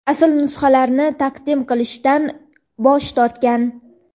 asl nusxalarini taqdim qilishdan bosh tortgan.